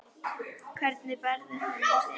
Hvernig berðu hann á þig?